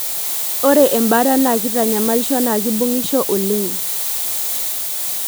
Ore embaata na kitanyamalisho na kibungisho oleng.